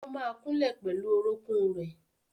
ó ma kúnlẹ̀ pẹ̀lú orókún rẹ̀.